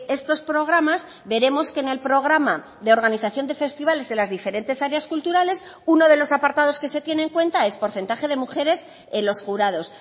estos programas veremos que en el programa de organización de festivales de las diferentes áreas culturales uno de los apartados que se tiene en cuenta es porcentaje de mujeres en los jurados